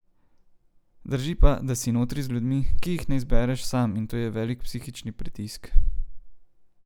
Drži pa, da si notri z ljudmi, ki si jih ne izbereš sam in to je velik psihični pritisk.